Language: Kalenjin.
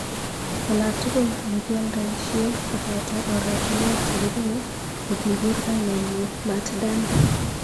Olatugul olekialdoishie koboto oratunwek chekibune kokikur kainenyi Mat Dan.